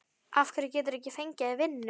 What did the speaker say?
Af hverju geturðu ekki fengið þér vinnu?